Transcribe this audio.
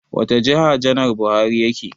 Wata jiha janar Buhari yake?